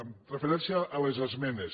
amb referència a les esmenes